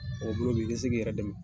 bolo bi i bɛ se k'i yɛrɛ dɛmɛ.